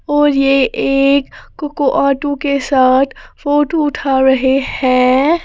और यह एक कोको आटू के साथ फोटो उठा रहे हैं।